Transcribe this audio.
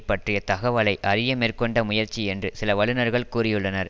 பற்றிய தகவலை அறிய மேற்கொண்ட முயற்சி என்று சில வல்லுனர்கள் கூறியுள்ளனர்